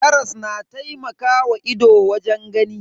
Karas na taimakawa ido wajen gani.